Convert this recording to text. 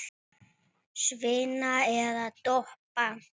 Svína eða toppa?